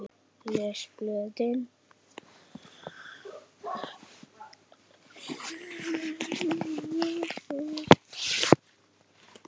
Les blöðin.